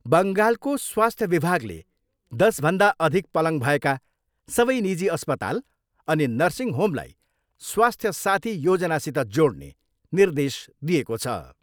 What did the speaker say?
बङ्गालको स्वास्थ्य विभागले दसभन्दा अधिक पलङ भएका सबै निजी अस्पताल अनि नर्सिङ होमलाई स्वास्थ्य साथी योजनासित जोड्ने निर्देश दिएको छ।